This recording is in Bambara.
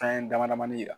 Fɛn dama damani yira